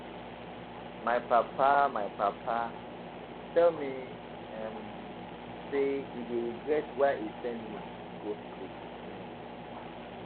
My papa My papa tell me um say he dey regret why he send me go school um